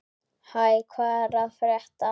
Hæ, hvað er að frétta?